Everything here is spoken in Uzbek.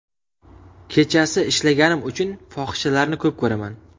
Kechasi ishlaganim uchun fohishalarni ko‘p ko‘raman.